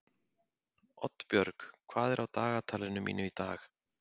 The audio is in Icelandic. Oddbjörg, hvað er á dagatalinu mínu í dag?